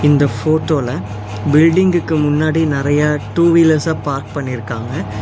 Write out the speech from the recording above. இந்த போட்டோல பில்டிங்குக்கு முன்னாடி நெறைய டூ வீலர்ஸ பார்க் பண்ணிருக்காங்க